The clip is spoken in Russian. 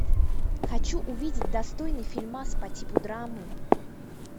хочу увидеть достойный фильмас по типу драмы